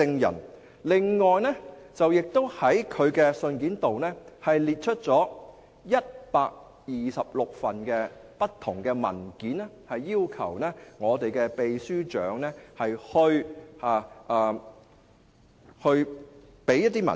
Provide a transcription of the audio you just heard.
此外，他亦在信中列出126份不同的文件，要求秘書長提供這些文件。